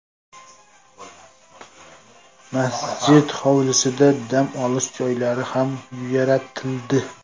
Masjid hovlisida dam olish joylari ham yaratildi.